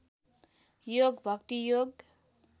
योग भक्ति योग